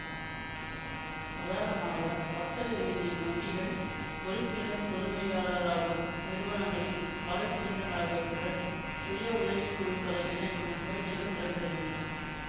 உதாரணமாக வர்த்தக ரீதியின் வங்கிகள் உறுப்பினர் உரிமையாளராகும் நிறுவனங்களின் வலைப்பின்னல் ஆகியவற்றுடன் சுய உதவி குழுக்களை இணைக்கும் முயற்சிகள் நடைபெறுகின்றன